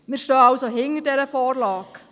Wir stehen also hinter dieser Vorlage.